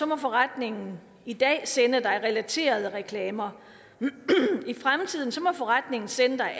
må forretningen i dag sende dig relaterede reklamer i fremtiden må forretningen sende dig